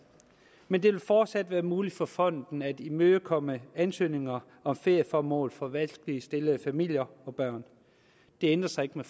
men det vil fortsat være muligt for fonden at imødekomme ansøgninger om ferieformål for vanskeligt stillede familier og børn det ændrer sig ikke med